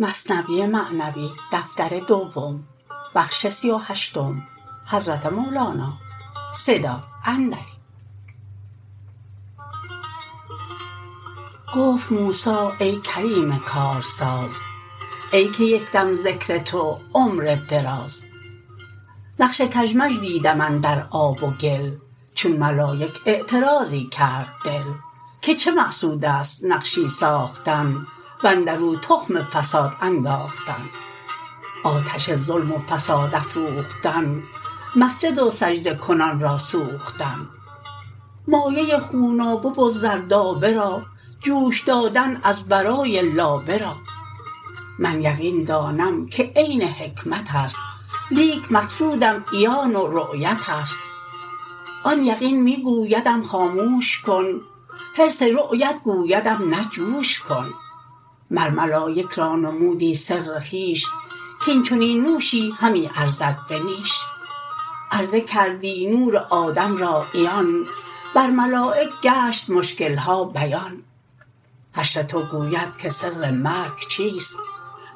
گفت موسی ای کریم کارساز ای که یکدم ذکر تو عمر دراز نقش کژمژ دیدم اندر آب و گل چون ملایک اعتراضی کرد دل که چه مقصودست نقشی ساختن واندرو تخم فساد انداختن آتش ظلم و فساد افروختن مسجد و سجده کنان را سوختن مایه خونابه و زردآبه را جوش دادن از برای لابه را من یقین دانم که عین حکمتست لیک مقصودم عیان و رؤیتست آن یقین می گویدم خاموش کن حرص رؤیت گویدم نه جوش کن مر ملایک را نمودی سر خویش کین چنین نوشی همی ارزد به نیش عرضه کردی نور آدم را عیان بر ملایک گشت مشکلها بیان حشر تو گوید که سر مرگ چیست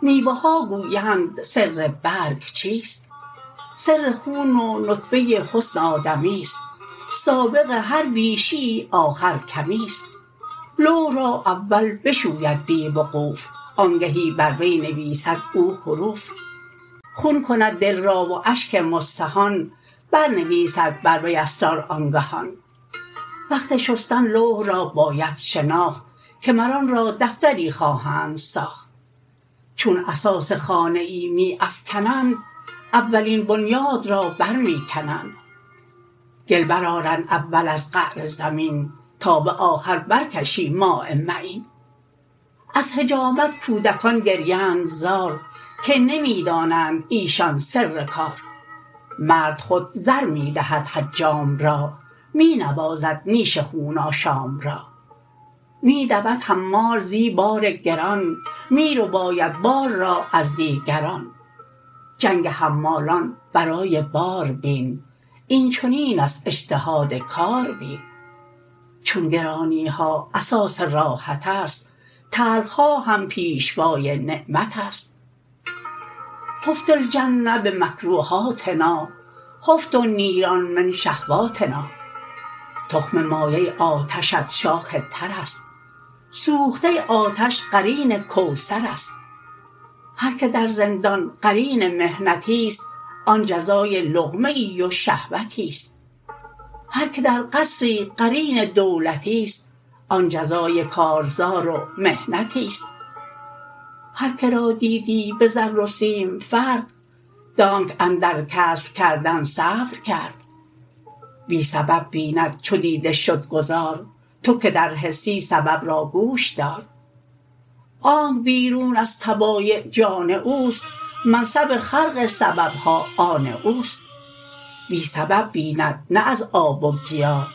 میوه ها گویند سر برگ چیست سر خون و نطفه حسن آدمیست سابق هر بیشیی آخر کمیست لوح را اول بشوید بی وقوف آنگهی بر وی نویسد او حروف خون کند دل را و اشک مستهان بر نویسد بر وی اسرار آنگهان وقت شستن لوح را باید شناخت که مر آن را دفتری خواهند ساخت چون اساس خانه ای می افکنند اولین بنیاد را بر می کنند گل بر آرند اول از قعر زمین تا به آخر بر کشی ماء معین از حجامت کودکان گریند زار که نمی دانند ایشان سر کار مرد خود زر می دهد حجام را می نوازد نیش خون آشام را می دود حمال زی بار گران می رباید بار را از دیگران جنگ حمالان برای بار بین این چنین است اجتهاد کاربین چون گرانیها اساس راحتست تلخها هم پیشوای نعمتست حفت الجنه بمکروهاتنا حفت النیران من شهواتنا تخم مایه آتشت شاخ ترست سوخته آتش قرین کوثرست هر که در زندان قرین محنتیست آن جزای لقمه ای و شهوتیست هر که در قصری قرین دولتیست آن جزای کارزار و محنتیست هر که را دیدی بزر و سیم فرد دانک اندر کسب کردن صبر کرد بی سبب بیند چو دیده شد گذار تو که در حسی سبب را گوش دار آنک بیرون از طبایع جان اوست منصب خرق سببها آن اوست بی سبب بیند نه از آب و گیا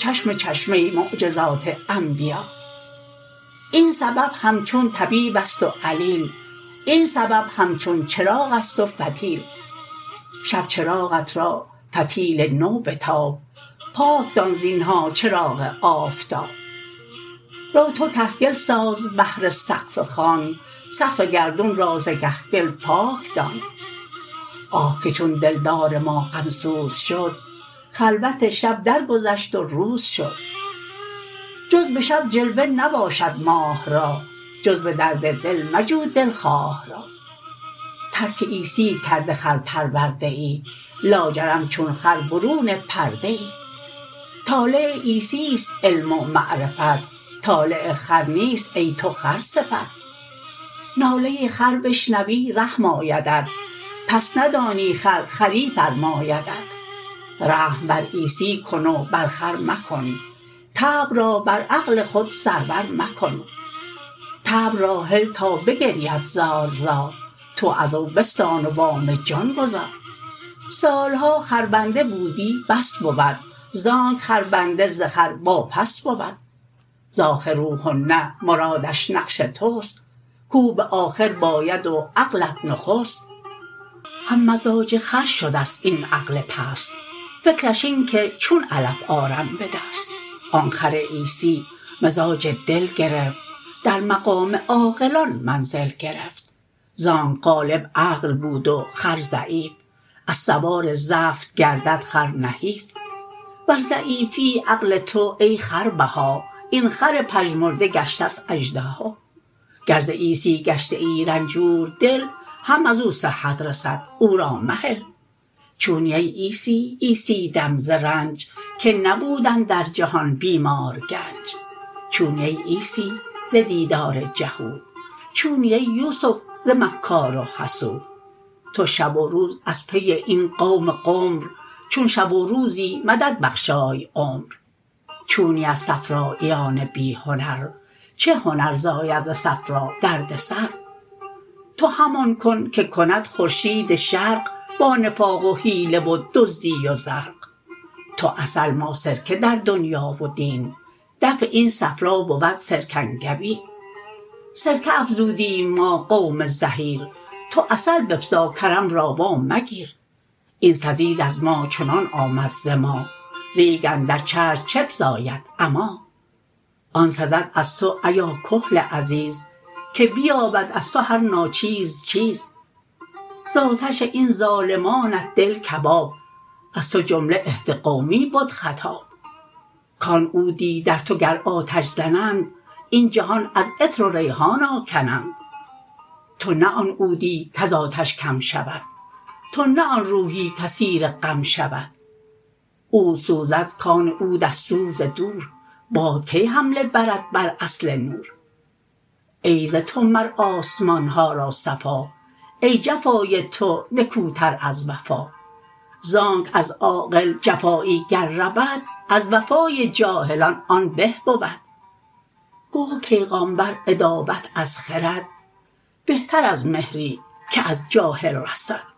چشم چشمه معجزات انبیا این سبب همچون طبیب است و علیل این سبب همچون چراغست و فتیل شب چراغت را فتیل نو بتاب پاک دان زینها چراغ آفتاب رو تو کهگل ساز بهر سقف خان سقف گردون را ز کهگل پاک دان آه که چون دلدار ما غمسوز شد خلوت شب در گذشت و روز شد جز به شب جلوه نباشد ماه را جز به درد دل مجو دلخواه را ترک عیسی کرده خر پروده ای لاجرم چون خر برون پرده ای طالع عیسیست علم و معرفت طالع خر نیست ای تو خر صفت ناله خر بشنوی رحم آیدت پس ندانی خر خری فرمایدت رحم بر عیسی کن و بر خر مکن طبع را بر عقل خود سرور مکن طبع را هل تا بگرید زار زار تو ازو بستان و وام جان گزار سالها خر بنده بودی بس بود زانک خربنده ز خر واپس بود ز اخروهن مرادش نفس تست کو به آخر باید و عقلت نخست هم مزاج خر شدست این عقل پست فکرش این که چون علف آرم به دست آن خر عیسی مزاج دل گرفت در مقام عاقلان منزل گرفت زانک غالب عقل بود و خر ضعیف از سوار زفت گردد خر نحیف وز ضعیفی عقل تو ای خربها این خر پژمرده گشتست اژدها گر ز عیسی گشته ای رنجوردل هم ازو صحت رسد او را مهل چونی ای عیسی عیسی دم ز رنج که نبود اندر جهان بی مار گنج چونی ای عیسی ز دیدار جهود چونی ای یوسف ز مکار و حسود تو شب و روز از پی این قوم غمر چون شب و روزی مددبخشای عمر چونی از صفراییان بی هنر چه هنر زاید ز صفرا درد سر تو همان کن که کند خورشید شرق با نفاق و حیله و دزدی و زرق تو عسل ما سرکه در دنیا و دین دفع این صفرا بود سرکنگبین سرکه افزودیم ما قوم زحیر تو عسل بفزا کرم را وا مگیر این سزید از ما چنان آمد ز ما ریگ اندر چشم چه فزاید عمی آن سزد از تو ایا کحل عزیز که بیابد از تو هر ناچیز چیز ز آتش این ظالمانت دل کباب از تو جمله اهد قومی بد خطاب کان عودی در تو گر آتش زنند این جهان از عطر و ریحان آگنند تو نه آن عودی کز آتش کم شود تو نه آن روحی که اسیر غم شود عود سوزد کان عود از سوز دور باد کی حمله برد بر اصل نور ای ز تو مر آسمانها را صفا ای جفای تو نکوتر از وفا زانک از عاقل جفایی گر رود از وفای جاهلان آن به بود گفت پیغامبر عداوت از خرد بهتر از مهری که از جاهل رسد